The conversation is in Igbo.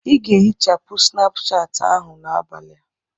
Ị ga-ehichapụ Snapuchati ahụ n'abalị a!